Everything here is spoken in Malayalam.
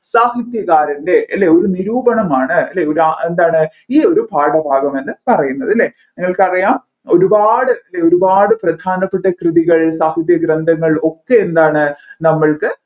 സാഹിത്യകാർ അല്ലെ അല്ലെ ഒരു നിരൂപണമാണ് അല്ലെ ഒരു എന്താണ് ഈ ഒരു പാഠഭാഗമെന്ന് പറയുന്നത് അല്ലെ നിങ്ങൾക്കറിയാം ഒരുപാട് അല്ലെ ഒരുപാട് പ്രധാനപ്പെട്ട കൃതികൾ സാഹിത്യ ഗ്രന്ഥങ്ങൾ ഒക്കെ എന്താണ് നമ്മൾക്ക്‌